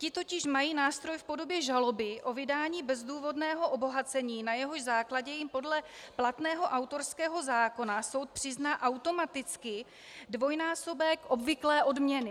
Ti totiž mají nástroj v podobě žaloby o vydání bezdůvodného obohacení, na jehož základě jim podle platného autorského zákona soud přizná automaticky dvojnásobek obvyklé odměny.